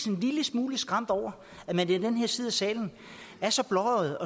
en lille smule skræmt over at man i den her side af salen er så blåøjet